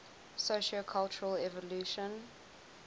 sociocultural evolution